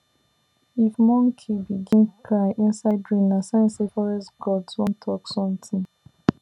if monkey begin cry inside rain na sign say forest gods wan talk something